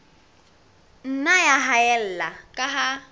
nna ya haella ka ha